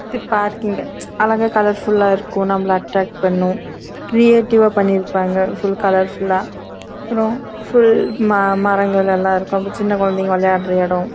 இங்க பார்க்கிங் நல்ல colourful ஆஹ் இருக்கும் நம்பள அற்றக்ட் பண்ணும் கிரேட்டிவ் ஆஹ் பனிருக்காங்க அப்பறம் சின்ன கொழந்தையா விளையாடலாம்